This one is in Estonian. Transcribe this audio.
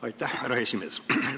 Aitäh, härra esimees!